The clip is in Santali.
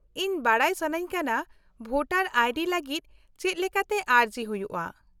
-ᱤᱧ ᱵᱟᱰᱟᱭ ᱥᱟᱱᱟᱧ ᱠᱟᱱᱟ ᱵᱷᱳᱴᱟᱨ ᱟᱭ ᱰᱤ ᱞᱟᱹᱜᱤᱫ ᱪᱮᱫ ᱞᱮᱠᱟᱛᱮ ᱟᱹᱨᱡᱤ ᱦᱩᱭᱩᱜᱼᱟ ᱾